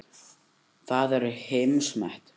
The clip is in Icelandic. Það er heimsmet.